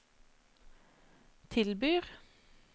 tilbyr